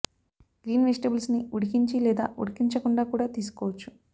green vegetables ను ఉడికించి లేదా ఉడికించ కుండా కూడా తీసుకోవచ్చు